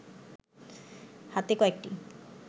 হাতে কয়েকটি